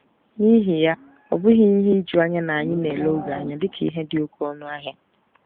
N'ihi ya, ọ bụghị ihe ijuanya na anyị na-ele oge anya dị ka ihe dị oké ọnụ ahịa.